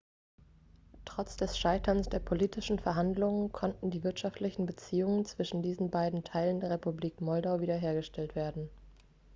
trotz des scheiterns der politischen verhandlungen konnten die wirtschaftlichen beziehungen zwischen diesen beiden teilen der republik moldau wiederhergestellt werden